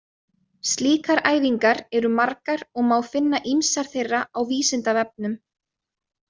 Slíkar æfingar eru margar og má finna ýmsar þeirra á Vísindavefnum.